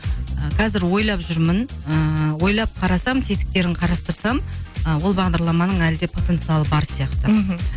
ы қазір ойлап жүрмін ыыы ойлап қарасам тетіктерін қарастырсам ы ол бағдарламаның әлі де потенциалы бар сияқты мхм